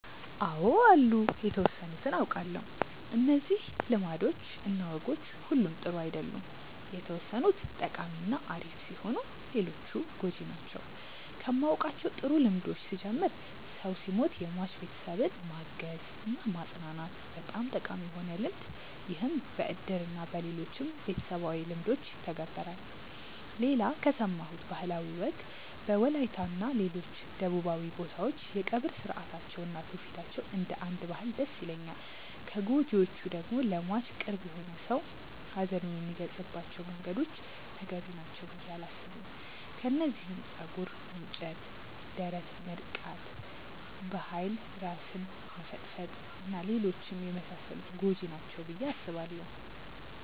አው አሉ የተወሰኑትን አውቃለው። እነዚህ ልማዶች እና ወጎች ሁሉም ጥሩ አይደሉም የተወሰኑት ጠቃሚ እና አሪፍ ሲሆኑ ሌሎቹ ጎጂ ናቸው። ከማውቃቸው ጥሩ ልምዶች ስጀምር ሰው ሲሞት የሟች ቤተሰብን ማገዝ እና ማፅናናት በጣም ጠቃሚ የሆነ ልምድ ይህም በእድር እና በሌሎችም ቤተሰባዊ ልምዶች ይተገበራል። ሌላ ከሰማሁት ባህላዊ ወግ በወላይታ እና ሌሎች ደቡባዊ ቦታዎች የቀብር ስርአታቸው እና ትውፊታቸው እንደ አንድ ባህል ደስ ይለኛል። ከጎጂዎቹ ደግሞ ለሟች ቅርብ የሆነ ሰው ሀዘኑን የሚገልፀባቸው መንገዶች ተገቢ ናቸው ብዬ አላስብም። ከነዚህም ፀጉር መንጨት፣ ደረት መድቃት፣ በኃይል ራስን መፈጥፈጥ እና ሌሎችም የመሳሰሉት ጎጂ ናቸው ብዬ አስባለው።